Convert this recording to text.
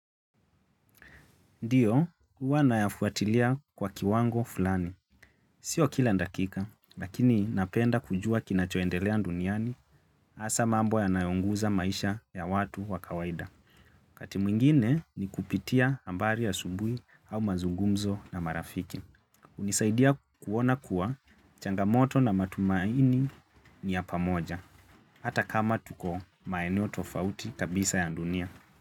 Ndio, huwa nayafuatilia kwa kiwango fulani. Sio kila dakika, lakini napenda kujua kinachoendelea duniani hasa mambo yanayoguza maisha ya watu wa kawaida. Wakati mwingine ni kupitia habari asubuhi au mazungumzo na marafiki. Hunisaidia kuona kuwa changamoto na matumaini ni ya pamoja. Hata kama tuko maeneo tofauti kabisa ya dunia.